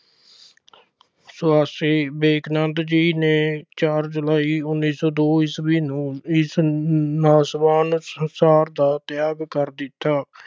ਸੁਆਮੀ ਵਿਵੇਕਨੰਦ ਜੀ ਨੇ ਚਾਰ ਜੁਲਾਈ ਉੱਨੀ ਸੌ ਦੋ ਈਸਵੀ ਨੂੰ ਇਸ ਨਾਸ਼ ਅਹ ਨਾਸ਼ਵਾਨ ਸੰਸਾਰ ਦਾ ਤਿਆਗ ਕਰ ਦਿੱਤਾ।